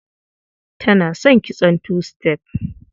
Tana son kitson two step.